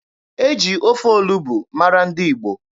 E ji ofe olugbu mara ndị Igbo.